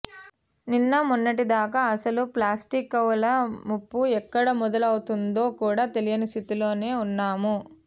నిన్న మొన్నటిదాకా అసలు ప్లాస్టిక్వల్ల ముప్పు ఎక్కడ మొదలౌతోందో కూడా తెలియని స్థితిలోనే ఉన్నాం